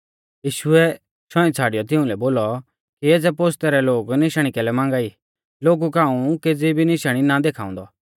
यीशुऐ शौईं छ़ाड़ियौ तिउंलै बोलौ कि एज़ै पोस्तै रै लोग निशाणी कैलै मांगा ई लोगु कै हाऊं केज़ी भी निशाणी ना देखाउंदौ